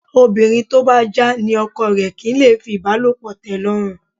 Obìnrin tó bá já ní ọkọ rẹ̀ kì í lè fìbálòpọ̀ tẹ́lọ́rùn